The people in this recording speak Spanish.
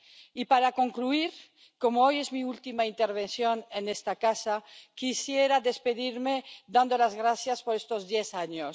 Y para concluir, como hoy es mi última intervención en esta casa, quisiera despedirme dando las gracias por estos diez años.